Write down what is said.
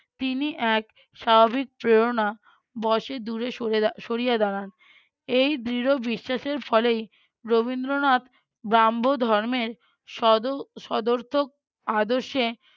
তিনি এক স্বাভাবিক প্রেরণা বশে দূরে সরে সরিয়া দাঁড়ান। এই দৃঢ় বিশ্বাসের ফলেই রবীন্দ্রনাথ ব্রাহ্ম ধর্মের সদও~ সদর্থক আদর্শে